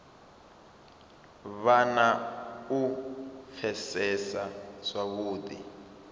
vhe na u pfesesa zwavhudi